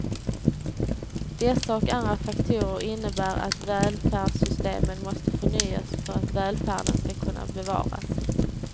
Dessa och andra faktorer innebär att välfärdssystemen måste förnyas för att välfärden ska kunna bevaras.